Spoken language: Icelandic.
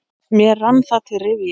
Mér rann það til rifja.